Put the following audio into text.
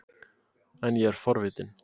En ég er forvitin.